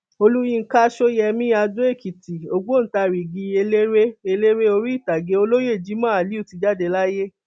olùyinka sọyẹmi adoekìtì ọgbọntarìgi eléré eléré orí ìtàgé olóyè jimoh aliu ti jáde láyé